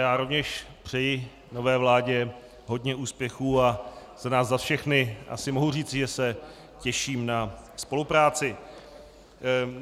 Já rovněž přeji nové vládě hodně úspěchů a za nás za všechny asi mohu říci, že se těším na spolupráci.